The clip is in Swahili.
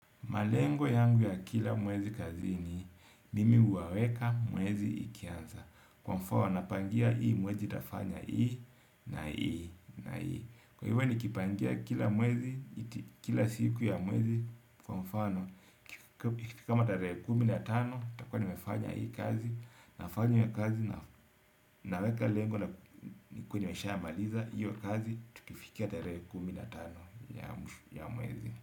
Malengo yangu ya kila mwezi kazi ni mimi huwaweka mwezi ikianza kwa mfano napangia hii mwezi nitafanya hii na hii na hii kwa hivyo nikipangia kila mwezi kila siku ya mwezi kwa mfano kama tarehe kumi na tano nitakuwa nimefanya hii kazi nafanya kazi na weka lengo nikuwe nishamaliza maliza hiyo kazi tukifikia tarehe kumi na tano ya mwezi.